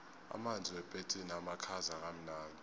amanzi wepetsini amakhaza kamnandi